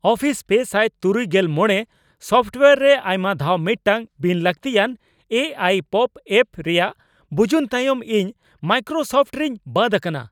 Office ᱓᱖᱕ software ᱨᱮ ᱟᱭᱢᱟ ᱫᱷᱟᱣ ᱢᱤᱫᱴᱴᱟᱝ ᱵᱤᱱ ᱞᱟᱹᱠᱛᱤᱭᱟᱱ ᱮ ᱟᱭ ᱯᱚᱯᱚ ᱮᱹᱯ ᱨᱮᱭᱟᱜ ᱵᱩᱡᱩᱱ ᱛᱟᱭᱚᱢ ᱤᱧ ᱢᱟᱭᱠᱨᱳᱥᱚᱯᱷᱴ ᱨᱤᱧ ᱵᱟᱫ ᱟᱠᱟᱱᱟ ᱾